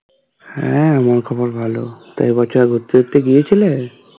হ্যাঁ আমার খবর ভালো এবছর ঘুরতে টুরতে গিয়েছিলে?